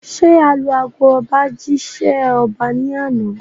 Ṣé alu ago ọba jí ṣẹ́ ọba ní àná?